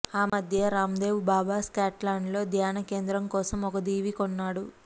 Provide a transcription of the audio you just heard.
ఆ మధ్య రాందేవ్ బాబా స్కాట్లాండ్లో ధ్యానకేంద్రం కోసం ఓ దీవి కొన్నాడు